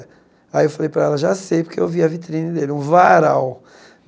Aí eu falei para ela, já sei, porque eu vi a vitrine dele, um varal.